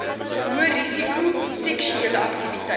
hoërisiko seksuele aktiwiteit